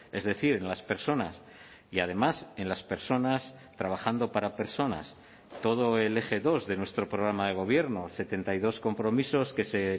es decir en las personas y además en las personas trabajando para personas todo el eje dos de nuestro programa de gobierno setenta y dos compromisos que se